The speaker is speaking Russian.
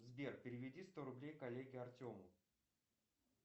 сбер переведи сто рублей коллеге артему